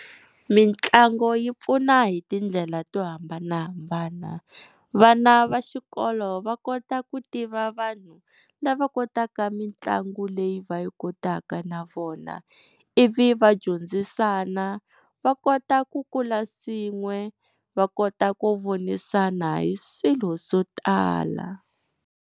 Mitlangu yi pfuna hi tindlela to hambanahambana. Vana va xikolo va kota ku tiva vanhu lava kotaka mitlangu leyi va yi kotaka na vona ivi va dyondzisana va kota ku kula swin'we va kota ku vonisana hi swilo swo tala.